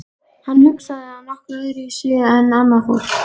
Hann hugsaði að nokkru öðruvísi en annað fólk.